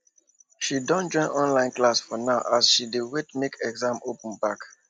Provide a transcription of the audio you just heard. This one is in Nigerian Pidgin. she don join online class for now as she dey wait make school open back